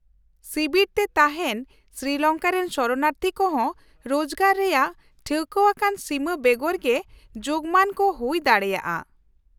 -ᱥᱤᱵᱤᱨ ᱨᱮ ᱛᱟᱦᱮᱱ ᱥᱨᱤᱞᱚᱝᱠᱟ ᱨᱮᱱ ᱥᱚᱨᱚᱱᱟᱨᱛᱷᱤ ᱠᱚᱦᱚᱸ ᱨᱳᱡᱜᱟᱨ ᱨᱮᱭᱟᱜ ᱴᱷᱟᱹᱣᱠᱟᱹᱣᱟᱱ ᱥᱤᱢᱟᱹ ᱵᱮᱜᱚᱨ ᱜᱮ ᱡᱳᱜᱢᱟᱱ ᱠᱚ ᱦᱩᱭ ᱫᱟᱲᱮᱭᱟᱜᱼᱟ ᱾